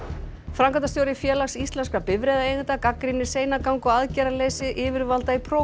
framkvæmdastjóri Félags íslenskra bifreiðaeigenda gagnrýnir seinagang og aðgerðaleysi yfirvalda í